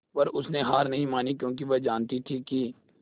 पर उसने हार नहीं मानी क्योंकि वह जानती थी कि